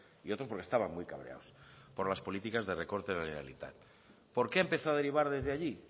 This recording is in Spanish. y otros porque estaban muy cabreados por las políticas de recortes de la generalitat por qué empezó a derivar desde allí